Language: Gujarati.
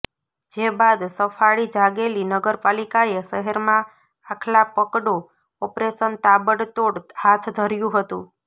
જે બાદ સફાળી જાગેલી નગરપાલિકાએ શહેરમાં આખલા પકડો ઓપરેશન તાબડતોડ હાથ ધર્યુ હતુ